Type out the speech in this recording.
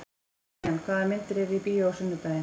Kiljan, hvaða myndir eru í bíó á sunnudaginn?